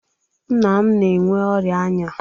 Nna m na-enwe ọria anya